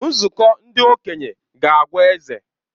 Nzukọ ndị okenye ga-agwa eze.